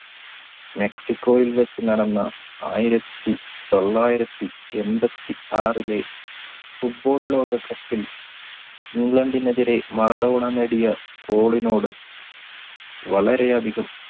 മെക്സിക്കോയിൽ വെച്ച് നടന്ന ആയിരത്തി തൊള്ളായിരത്തി എമ്പതി ആറിലെ football ലോക cup ൽ ഇംഗ്ലണ്ടിനെതിരെ മറഡോണ നേടിയ goal നോട് വളരെയധികം